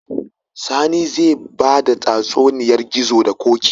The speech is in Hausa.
Sani zai bada tatsuniyar gizo da koki